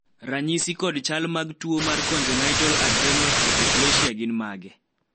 ranyisi kod chal mag tuo mar Congenital adrenal hyperplasia gin mage ?